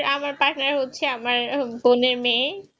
আমার partner হচ্ছে আমার বোনের মেয়ে